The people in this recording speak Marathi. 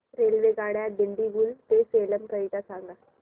रेल्वेगाड्या दिंडीगुल ते सेलम करीता सांगा